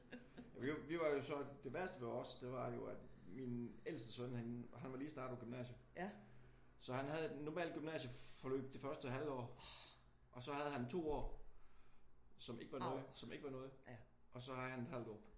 Vi var jo så det værste ved os det var jo også at min ældste søn han han var lige startet på gymnasiet så han havde et normalt gymnasieforløb det første halve år. Og så havde han 2 år som ikke var noget som ikke var noget og så havde han et halvt år